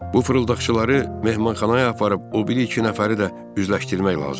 Bu fırıldaqçıları mehmanxanaya aparıb o biri iki nəfəri də üzləşdirmək lazımdır.